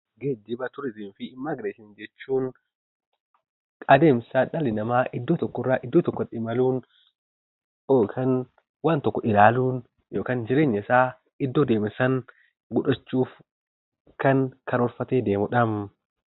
Geejjiba jechuun adeemsa dhalli namaa iddoo tokkorraa iddoo tokkotti imaluun yookaan jireenyasaa ilaaluun godhachuuf kan karoorfatee deemudha.